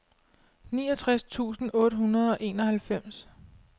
niogtres tusind otte hundrede og enoghalvfems